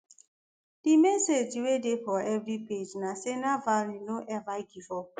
di message wey dey for every page na say navalny no ever give up